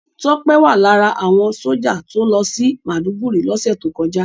Tọ́pé wà lára àwọn sójà tó lọ sí Màdúgùri lọ́sẹ̀ tó kọjá